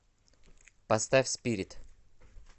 поставь спирит